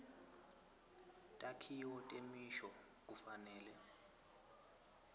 takhiwo temisho kufanele